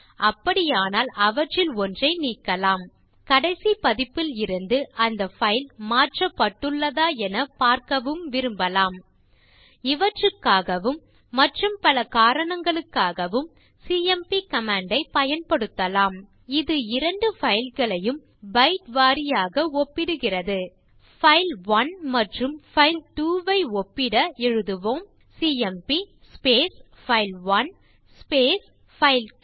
அப்படியானால் அவற்றில் ஒன்றை நீக்கலாம் கடைசி பதிப்பில் இருந்து அந்த பைல் மாற்றப்படுள்ளதா என பார்க்கவும் விரும்பலாம் இவற்றுக்காகவும் மற்றும் பல காரணங்களுக்காகவும் சிஎம்பி கமாண்ட் ஐப் பயன்படுத்தலாம் இது இரண்டு பைல் களையும் பைட் வாரியாக ஒப்பிடுகிறது பைல்1 மற்றும் பைல்2 ஐ ஒப்பிட எழுதுவோம் சிஎம்பி பைல்1 பைல்2